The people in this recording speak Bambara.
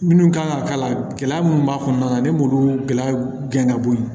Minnu kan ka k'a la gɛlɛya minnu b'a kɔnɔna na ne m'olu gɛlɛya gɛn ka bɔ yen